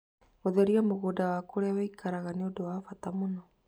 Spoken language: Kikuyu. Gũtheria mũgũnda na kũrĩa ũikaraga nĩ ũndũ wa bata mũno.